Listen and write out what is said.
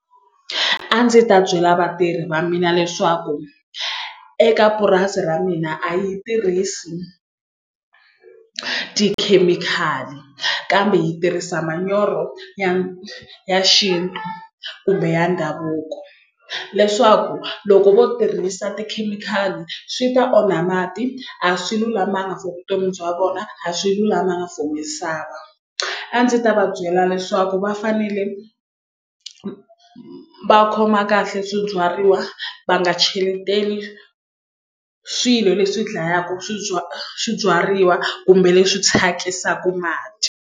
A ndzi ta byela vatirhi va mina leswaku eka purasi ra mina a yi tirhisi tikhemikhali kambe hi tirhisa manyoro ya ya xintu ku biha ndhavuko leswaku loko vo tirhisa tikhemikhali swi ta onha mati a swi lulamanga for vutomi bya vona a swi lulamanga for misava a ndzi ta va byela leswaku va fanele va khoma kahle swibyariwa va nga cheleteli swilo leswi dlayaka swibyariwa kumbe leswi thyakisaka mati.